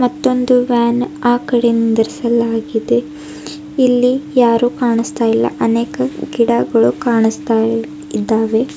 ಮತ್ತೋಂದು van ಆ ಕಡೆ ನಿಂದ್ರಿಸಲಾಗಿದೆ ಇಲ್ಲಿ ಯಾರೂ ಕಾಣಿಸ್ತಾ ಇಲ್ಲ ಅನೇಕ ಗಿಡಗಳು ಕಾಣಿಸ್ತಾ ಇದ್ದಾವೆ.